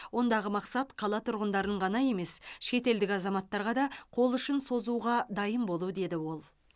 ондағы мақсат қала тұрғындарын ғана емес шетелдік азаматтарға да қол ұшын созуға дайын болу деді ол